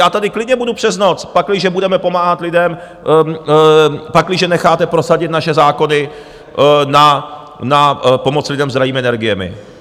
Já tady klidně budu přes noc, pakliže budeme pomáhat lidem, pakliže necháte prosadit naše zákony na pomoc lidem s drahými energiemi.